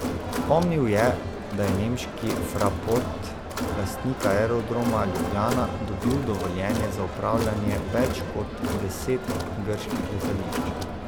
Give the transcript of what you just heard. Spomnil je, da je nemški Fraport, lastnik Aerodroma Ljubljana, dobil dovoljenje za upravljanje več kot deset grških letališč.